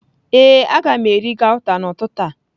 Ee, a ga m eri gauta n'ụtụtụ a.